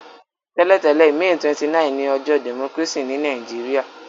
Tẹ́lẹ̀tẹ̀lẹ́, May 29 ni ojọ́ democracy ni Naijiria